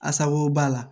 Asago b'a la